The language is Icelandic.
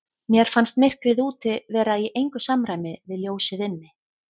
Mér fannst myrkrið úti vera í engu samræmi við ljósið inni.